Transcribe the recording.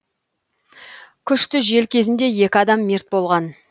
күшті жел кезінде екі адам мерт болған